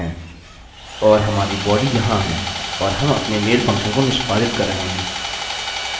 और हमारी बॉडी यहाँ है और हम अपने मेल फंक्शन को निष्पादित कर रहे हैं